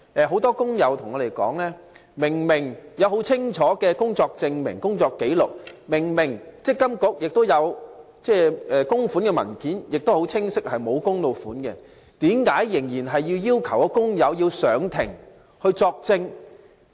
很多工友向我們查詢，即使已提交具體工作證明及工作紀錄，而積金局亦已收妥足以證明僱主沒有供款的文件，為何工友仍須出庭作證？